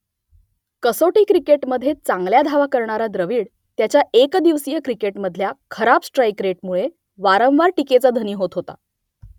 कसोटी क्रिकेटमधे चांगल्या धावा करणारा द्रविड त्याच्या एकदिवसीय क्रिकेटमधल्या खराब स्ट्राईक रेटमुळे वारंवार टीकेचा धनी होत होता